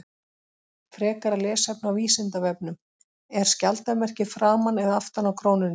Frekara lesefni á Vísindavefnum: Er skjaldarmerkið framan eða aftan á krónunni?